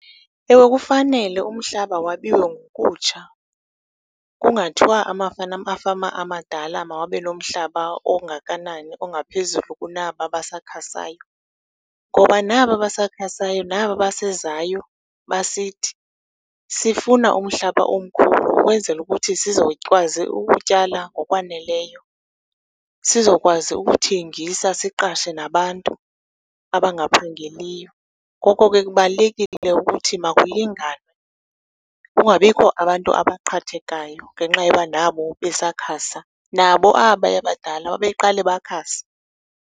Ewe kufanele umhlaba wabiwe ngokutsha kungathwa amafama amadala mawabelwe umhlaba ongakanani ongaphezulu kunaba basakhasayo. Ngoba naba basakhasayo naba basezayo basithi, sifuna umhlaba omkhulu ukwenzela ukuthi sizokwazi ukutyala ngokwaneleyo, sizokwazi ukuthengisa siqashe nabantu abangaphangeliyo. Ngoko ke kubalulekile ukuthi makulinganwe kungabikho abantu abaqhathekayo ngenxa yoba nabo besakhasa. Nabo abaya badala babeqala bakhasa.